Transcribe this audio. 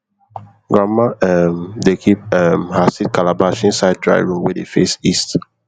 grandma um dey keep um her seed calabash inside dry room wey dey face east